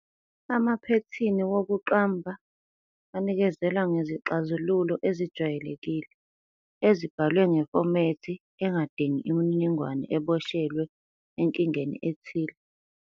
Amaphethini wokuqamba anikezela ngezixazululo ezijwayelekile, ezibhalwe ngefomethi engadingi imininingwane eboshelwe enkingeni ethile.